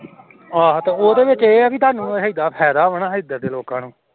ਆਹ ਉਹਦੇ ਵਿਚ ਇਹ ਹੈ ਤੁਹਾਨੂੰ ਹੇਗਾ ਫੈਦਾ ਵ ਐਧਰ ਦੇ ਲੋਕ ਨੂੰ